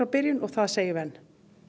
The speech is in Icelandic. byrjun og það segjum við enn